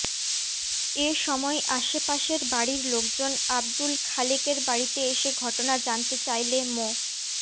এ সময় আশে পাশের বাড়ির লোকজন আব্দুল খালেকের বাড়িতে এসে ঘটনা জানতে চাইলে মো